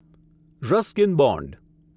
Ruskin bond